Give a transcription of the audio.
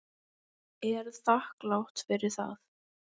Er þakklát fyrir það.